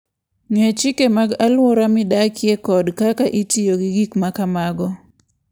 Ng'e chike mag alwora midakie kod kaka itiyo gi gik ma kamago.